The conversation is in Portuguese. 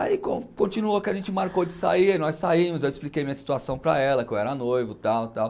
Aí continuou que a gente marcou de sair, nós saímos, eu expliquei minha situação para ela, que eu era noivo, tal, tal.